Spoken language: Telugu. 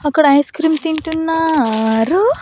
అక్కడ ఐస్ క్రీమ్ తింటున్నారు.